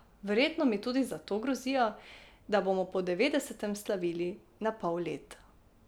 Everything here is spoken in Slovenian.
Verjetno mi tudi zato grozijo, da bomo po devetdesetem slavili na pol leta.